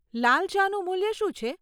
લાલ ચાનું મૂલ્ય શું છે?